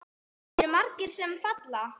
Eru margir sem falla?